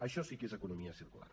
això sí que és economia circular